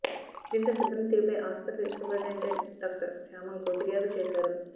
దీంతో సిబ్బంది తీరుపై ఆస్పత్రి సూపరింటెండెంట్ డాక్టర్ శామ్యూల్కు ఫిర్యాదు చేశాడు